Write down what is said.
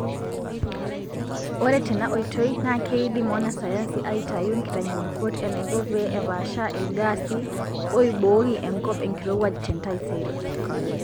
Ore tena oitoi naa keidim wanasayansi aitayu nkitanyaanyukot enaiko pee epaasha ilgaasi oibooki enkop enkirowuaj tentaisere.